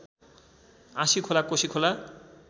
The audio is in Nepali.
आँसी खोला कोशी खोला